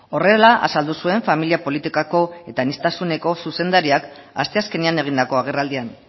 horrela azaldu zuen familia politikako eta aniztasuneko zuzendariak asteazkenean egindako agerraldian